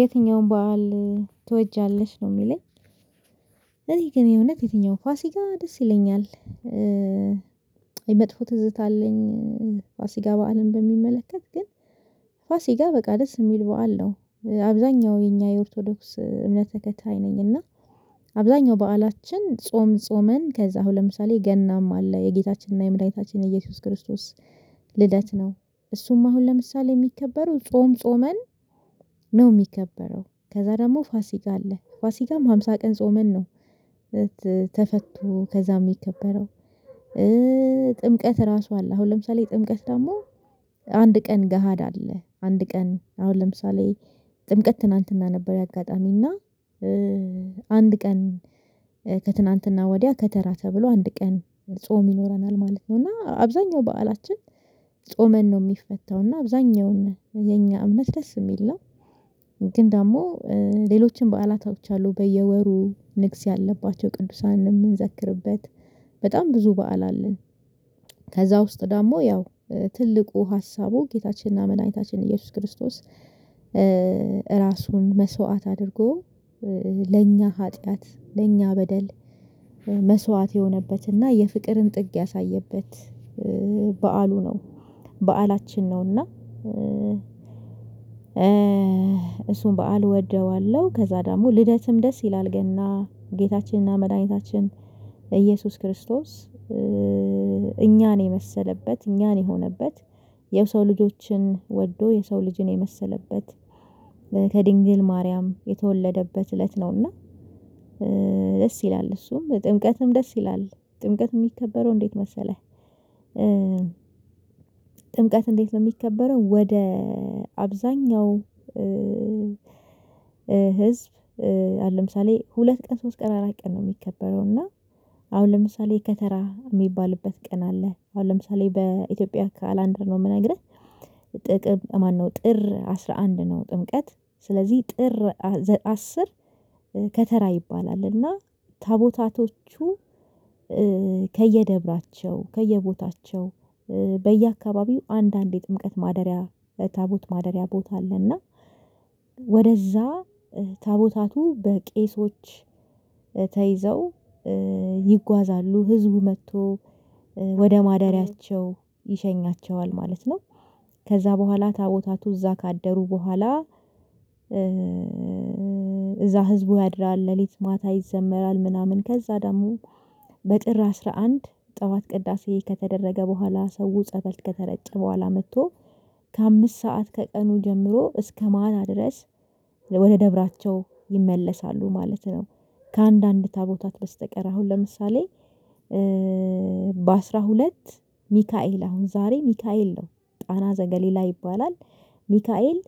የትኛውም በዓል ትወጃለሽ ነው የሚለኝ? እኔ ግን እውነት የትኛውም ፋሲካ ደስ ይለኛል። መጥፎ ትዝታ አለኝ። ፋሲካ በዓልን በሚመለከት ግን። ፋሲካ በቃ ደስ የሚል በዓል ነው። አብዛኛው የኛ የኦርቶዶክስ እምነት ተከታይ ነኝ። እና አብዛኛው በዓላችን ጾም ጾመን ከዛ አሁን ለምሳሌ ገናም አለ የጌታችንና የምድኃኒታችን ኢየሱስ ክርስቶስ። ልደት ነው እሱም አሁን ለምሳሌ የሚከበረው ጾም ጾመን ነው የሚከበረው ከዛ ደግሞ ፋሲካ አለ ፋሲጋም ሃምሳ ቀን ጾመን ነው። ተፈቶ ከዛ የሚከበረው። ጥምቀት ራሱ አለ አሁን ለምሳሌ ጥምቀት ደግሞ አንድ ቀን ገሃድ አለ አንድ ቀን አሁን ለምሳሌ ጥምቀት ትናንትና ነበር። አጋጣሚና አንድ ቀን ከትናንትና ወዲያ ከተራ ተብሎ አንድ ቀን ጾም ይኖረናል ማለት ነው። እና አብዛኛው በዓላችን ጾመን ነው የሚፈታው እና አብዛኛው የኛ እምነት ደስ የሚል ነው። ግን ደግሞ ሌሎችን በዓላቶች አሉ በየወሩ ንግስ ያለባቸው ቅዱሳን የምንዘክርበት። በጣም ብዙ በዓል አለን። ከዛ ውስጥ ደግሞ ያው ትልቁ ሀሳቡ ጌታችንና ምን አይነታችን ኢየሱስ ክርስቶስ። ራሱን መስዋዕት አድርጎ ለኛ ኃጢአት ለኛ በደል መስዋዕት የሆነበት እና የፍቅርን ጥግ ያሳየበት በዓሉ ነው። በዓላችን ነው እና እሱን በዓል እወደዋለሁ። ከዛ ደግሞ ልደትም ደስ ይላል ገና ጌታችንና መድኃኒታችን ኢየሱስ ክርስቶስ። እኛን የመሰለበት እኛን የሆነበት የሰው ልጆችን ወዶ የሰው ልጅን የመሰለበት ከድንግል ማርያም የተወለደበት እለት ነውና። ደስ ይላል እሱም ጥምቀትም ደስ ይላል። ጥምቀት የሚከበረው እንዴት መሰለህ? ጥምቀት እንዴት ነው የሚከበረው ወደ አብዛኛው ህዝብ ለምሳሌ ሁለት ቀን ሶስት ቀን አራት ቀን ነው የሚከበረው። እና አሁን ለምሳሌ ከተራ የሚባልበት ቀን አለ አሁን ለምሳሌ በኢትዮጵያ አካላንደር ነው የምነግርህ። ጥቅምት ማነው ጥር አስራ አንድ ነው። ጥምቀት ስለዚህ ጥር አስር ከተራ ይባላል እና ታቦታቶቹ ከየደብራቸው ከየቦታቸው አንዳንዴ ጥምቀት ማደሪያ ታቦት ማደሪያ ቦታ አለና። ወደዛ ታቦታቱ በቄሶች ተይዘው ይጓዛሉ ህዝቡ መጥቶ ወደ ማደሪያቸው ይሸኛቸዋል ማለት ነው። ከዛ በኋላ ታቦታቱ እዛ ካደሩ በኋላ። እዛ ህዝቡ ያድራል ሌሊት ማታ ይዘመራል ምናምን ከዛ ደግሞ በጥር አስራ አንድ ጠዋት ቅዳሴ ከተደረገ በኋላ ሰው ጸበል ከተረጨ በኋላ መጥቶ ከአምስት ሰዓት ከቀኑ ጀምሮ እስከ ማታ ድረስ ወደ ደብራቸው ይመለሳሉ ማለት ነው። ከአንዳንድ ታቦታት በስተቀር አሁን ለምሳሌ። በአስራ ሁለት ሚካኤል አሁን ዛሬ ሚካኤል ነው ቃና ዘገሊላ ይባላል። ሚካኤል